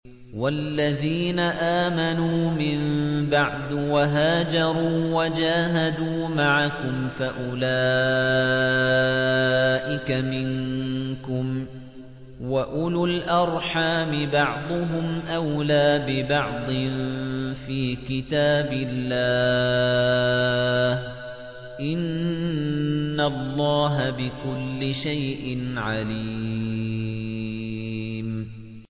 وَالَّذِينَ آمَنُوا مِن بَعْدُ وَهَاجَرُوا وَجَاهَدُوا مَعَكُمْ فَأُولَٰئِكَ مِنكُمْ ۚ وَأُولُو الْأَرْحَامِ بَعْضُهُمْ أَوْلَىٰ بِبَعْضٍ فِي كِتَابِ اللَّهِ ۗ إِنَّ اللَّهَ بِكُلِّ شَيْءٍ عَلِيمٌ